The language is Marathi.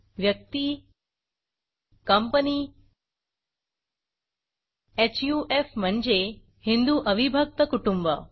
व्यक्ती कंपनी हफ म्हणजे हिंदू अविभक्त कुटुंब